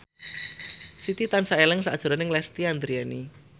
Siti tansah eling sakjroning Lesti Andryani